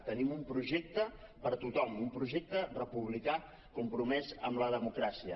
tenim un projecte per a tothom un projecte republicà compromès amb la democràcia